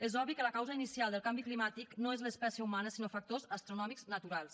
és obvi que la causa inicial del canvi climàtic no és l’espècie humana sinó factors astronòmics naturals